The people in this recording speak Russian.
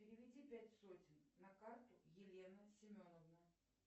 переведи пять сотен на карту елена семеновна